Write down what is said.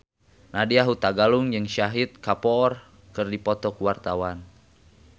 Nadya Hutagalung jeung Shahid Kapoor keur dipoto ku wartawan